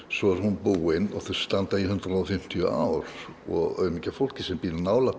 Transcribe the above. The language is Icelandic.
svo er hún búin og þau standa í hundrað og fimmtíu ár og aumingja fólkið sem býr nálægt